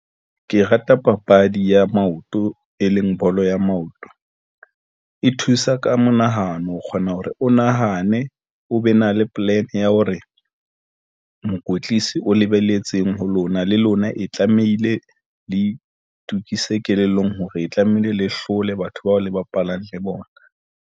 Ke rata papadi ya maoto, e leng bolo ya maoto, e thusa ka monahano. O kgona hore o nahane o be na le plan ya hore mokwetlisi o lebeletseng ho lona le lona e tlamehile, le itukise kelellong hore e tlamehile le hlole batho bao le bapalang le bona.